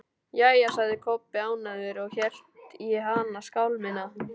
Jæja, sagði Kobbi ánægður og hélt í hina skálmina.